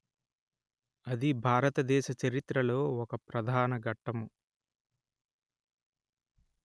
అది భారతదేశ చరిత్రలో ఒక ప్రధాన ఘట్టము